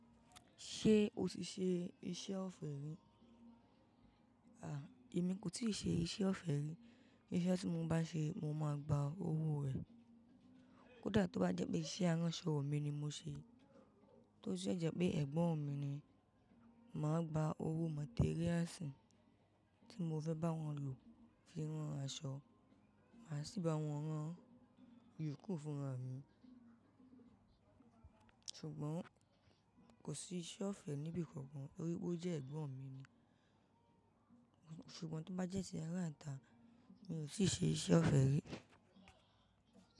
Ṣé o ti ṣe iṣẹ́ ọ̀fẹ́ rí? À, èmi kò tíì ṣe iṣẹ́ ọ̀fẹ́ rí. Iṣẹ́ tí mo bá ṣe, mo máa gba owó rẹ̀. Kódà tó bá jẹ́ pé iṣẹ́ aránṣọ mi ni mo ṣe, tọ́ dẹ jẹ́ pé ẹ̀gbọ́n mi ni, màá gba owó materiásìì tí mo fẹ́ bá wọn lò fi rán aṣọ, màá sì bá wọn rán ìyókù fúnra mi. Ṣùgbọ́n kò sí iṣẹ́ ọ̀fẹ́ níbì kan kan, torí pé ó jẹ́ ẹ̀gbọ́n mi ni. Ṣùgbọ́n tó bá jẹ́ iṣẹ́ ará ìta, mi ò ti ṣe iṣẹ́ ọ̀fẹ́ rí.